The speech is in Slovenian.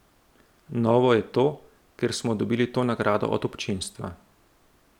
Novo je to, ker smo dobili to nagrado od občinstva.